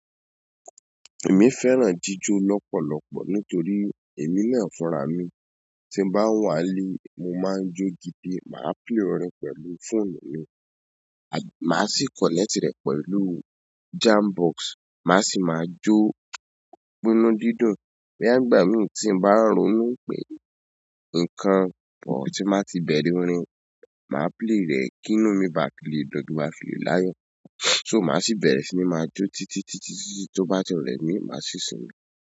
Èmi fẹ́ràn jíjọ lọ́pọ̀lọpọ̀ nítorí èmi náà furá mi. Tí mo bá ń wà lé, mo máa ń jó gidi, màá play orin pẹ̀lú team mi, à má sì connect rẹ̀ pẹ̀lú jam box, mà sì máa jó gbínú dídùn. Boya nígbà mí tí mo bá rònú pé nǹkan kan tí màá ti bẹ̀rẹ̀ orin, màá play rẹ̀. Kí nù mí bá lè dùu kin bá lè filáyọ̀. So mà sì bẹ̀rẹ̀ sí ní máa jọ́ títí títí títí tó bá ti rẹ̀ mí má sì sinmi.